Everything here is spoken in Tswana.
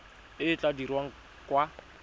e e tla dirwang kwa